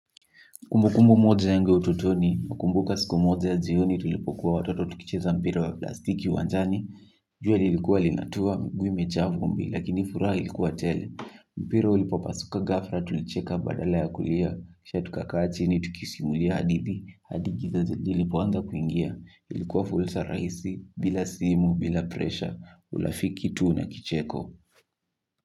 Kumbukumu moja yangu utotoni nakumbuka siku moja ya jioni tulipokuwa watoto tukicheza mpira wa plastiki uwanjani. Jua lilikuwa linatua mguu imejaa vumbi lakini furaha ilikuwa tele. Mpira ulipopasuka gafra tulicheka badala ya kulia. Sha tuka kaa chini tukisimulia hadithi hadi giza lilipo anza kuingia ilikuwa fulsa rahisi bila simu bila presha ulafiki tuu na kicheko.